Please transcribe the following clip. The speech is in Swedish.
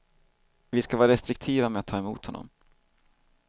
Vi ska vara restriktiva med att ta emot honom.